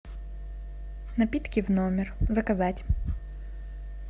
напитки в номер заказать